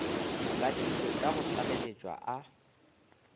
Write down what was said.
badilwe ka go tlaleletšo a